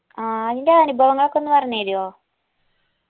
ആ അയിന്റെ അനുഭവങ്ങളൊക്കെ ഒന്ന് പറഞ്ഞെരുവോ